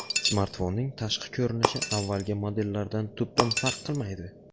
Smartfonning tashqi ko‘rinishi avvalgi modellardan tubdan farq qilmaydi.